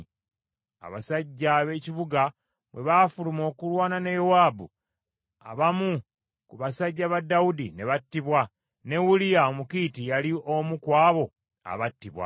Abasajja ab’ekibuga bwe baafuluma okulwana ne Yowaabu, abamu ku basajja ba Dawudi ne battibwa, ne Uliya Omukiiti yali omu ku abo abattibwa.